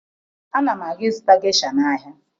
Ana m aga ịzụta gesha n'ahịa